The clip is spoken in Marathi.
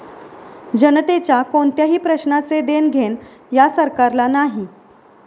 जनतेच्या कोणत्याही प्रश्नाचे देणघेण या सरकारला नाही.